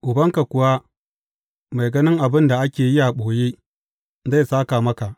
Ubanka kuwa mai ganin abin da ake yi a ɓoye, zai sāka maka.